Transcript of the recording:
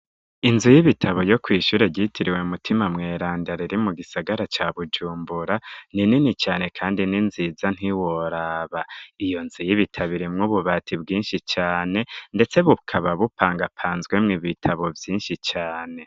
Inzu y'ibitabo yo kw'ishure ryitiriwe mutima mweranda riri mu gisagara ca bujumbura ni nini cane kandi ninziza ntiworaba, iyo nzu y'ibitabo irimwo ububati bwinshi cane ndetse bukaba bupangapanzwemwo ibitabo vyinshi cane.